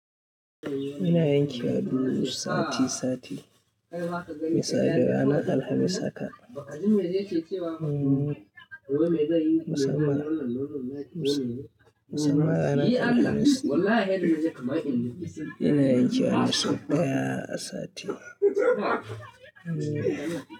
Ina yanke duwatsu sati sati, me sa da ranar Alhamis haka. Musamman, musamman ranar Alhamis. Ina yanke wasu daya sati.